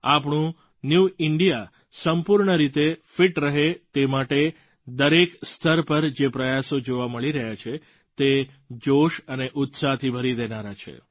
આપણું new India સંપૂર્ણ રીતે ફિટ રહે તે માટે દરેક સ્તર પર જે પ્રયાસો જોવા મળી રહ્યા છે તે જોશ અને ઉત્સાહથી ભરી દેનારા છે